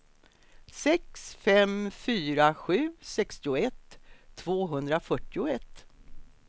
sex fem fyra sju sextioett tvåhundrafyrtioett